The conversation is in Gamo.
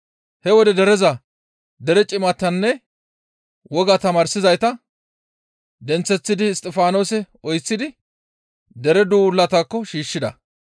He wode dereza, dere cimatanne wogaa tamaarsizayta, denththeththidi Isttifaanose oyththidi dere duulataakko shiishshida.